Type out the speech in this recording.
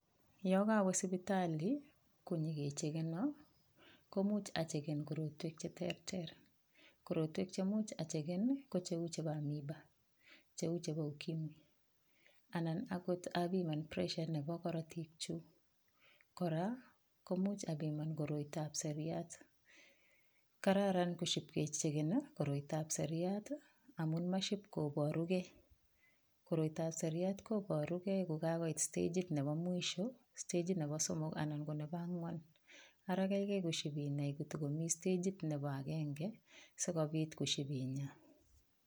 Yo kawe sipitali konyikechekeno ko muuch acheken korotwek cheterter korotwek chemuch acheken ko cheu chebo amoeba cheu chebo ukimwi anan akot apiman pressure nebo korotik chu kora komuch apiman koroitoab seriat kararan koshipkecheken koroitoab seriat amun maship koborukei koroitoab seriat koborugei kokakoit stagit nebo mwisho stagit nebo somok anan ko nebo ang'wan ara keikei koshipinai kotikomi stagit nebo agenge sikobit koship inyaa